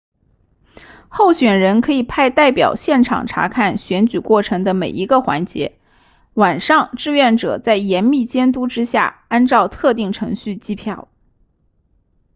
候选人可以派代表现场察看选举过程的每一个环节晚上志愿者在严密监督之下按照特定程序计票